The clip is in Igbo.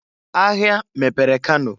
Ahia mepere Kano.